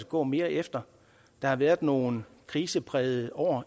gå mere efter der har været nogle kriseprægede år